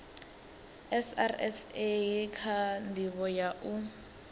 srsa kha ndivho ya u